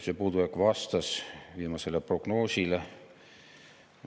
See puudujääk vastas viimasele prognoosile.